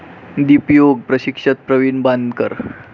दीपयोग प्रशिक्षक प्रवीण बांदकर